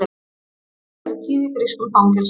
Mótmæli eru tíð í grískum fangelsum